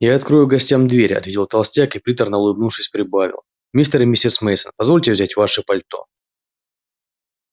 я открою гостям дверь ответил толстяк и приторно улыбнувшись прибавил мистер и миссис мейсон позвольте взять ваши пальто